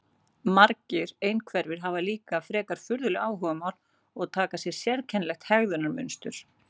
Margir einhverfir hafa líka frekar furðuleg áhugamál og taka upp sérkennilegt hegðunarmynstur.